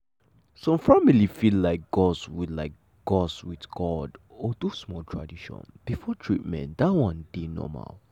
some family fit like gust with like gust with god or do small tradition before treatment that one dey normal.